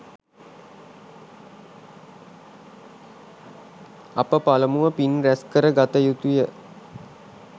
අප පළමුව පින් රැස්කර ගත යුතුය.